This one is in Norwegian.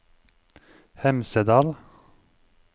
Hemsedal